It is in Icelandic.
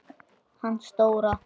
Hann Stóra